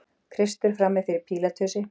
Kristur frammi fyrir Pílatusi.